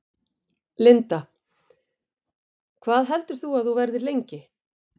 Linda: Hvað heldur þú að þú verðir lengi?